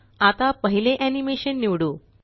आता पहिले एनीमेशन निवडू